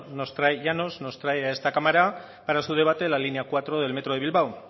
nos trae a esta cámara para su debate la línea cuatro del metro de bilbao